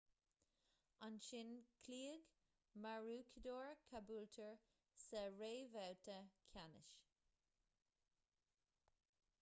ansin chloígh maroochydore caboolture sa réamhbhabhta ceannais